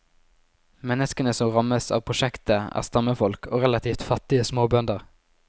Menneskene som rammes av prosjektet er stammefolk og relativt fattige småbønder.